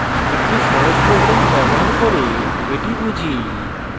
একটি সহজ program ব্যবহার করে এটি বুঝি